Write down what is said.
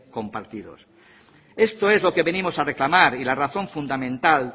compartidos esto es lo que venimos a reclamar y la razón fundamental